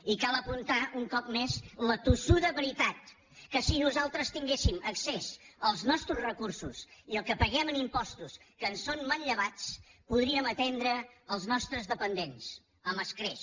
i cal apuntar un cop més la tossuda veritat que si nosaltres tinguéssim accés als nostres recursos i el que paguem en impostos que ens són manllevats podríem atendre els nostres dependents amb escreix